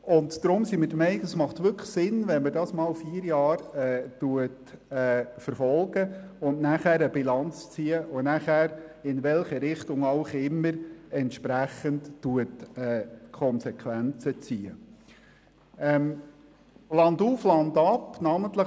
Und darum sind wir der Meinung, dass es Sinn macht, erst einmal Erfahrungen mit den erweiterten Ladenöffnungszeiten für Familienbetriebe zu sammeln, nach vier Jahre Bilanz und daraus entsprechend die Konsequenzen zu ziehen – in welche Richtung auch immer.